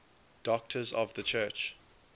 doctors of the church